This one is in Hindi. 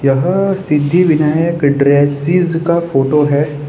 यह सिद्धि विनायक ड्रेसेज का फोटो है।